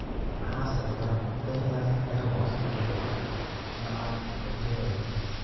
Maxaa sababa Ehlers Danlos syndrome nooca progeroid?